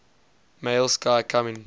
male sky coming